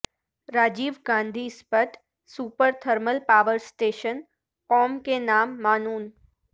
Rajiv Gandhi Sipat super thermal power station قوم کے نام معنون